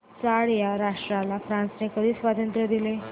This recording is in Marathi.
चाड या राष्ट्राला फ्रांसने कधी स्वातंत्र्य दिले